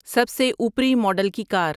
سب سے اوپری ماڈل کی کار